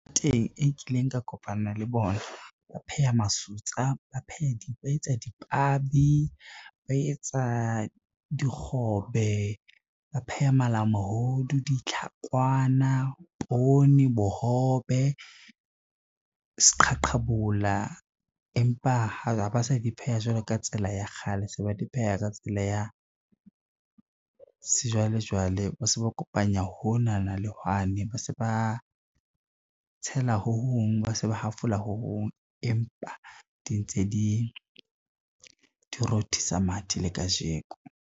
Teng e kileng ka kopana le bona, ba pheha masutsa, ba etsa dipabi, ba etsa dikgobe, ba pheha malamohodu, ditlhakwana, poone bohobe, seqhaqhabola, empa ha ba sa di pheha jwalo ka tsela ya kgale, se ba di pheha ka tsela ya sejwalejwale, ba se ba kopanya honana le hwane, ba se ba tshela ho hong, ba se ba hafola ho hong empa di ntse di rothisa mathe le kajeko.